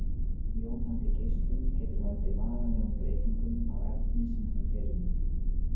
Jónandi geislun getur valdið varanlegum breytingum á efni sem hún fer um.